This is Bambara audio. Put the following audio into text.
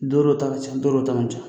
Don dɔ ta ka ca don dɔ ta man ca